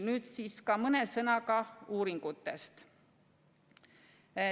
Nüüd aga mõne sõnaga ka uuringutest.